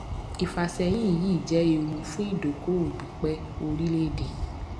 ìfàsẹyìn yìí jẹ ewu fún ìdókòòwò pípẹ orílẹèdè